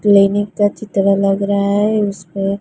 clinic का चित्र लग रहा है उस पे--